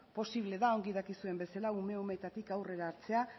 posible da ongi dakizuen bezala ume umeetatik aurrera hartzea